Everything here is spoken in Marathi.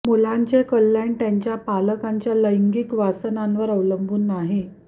मुलांचे कल्याण त्यांच्या पालकांच्या लैंगिक वासनांवर अवलंबून नाही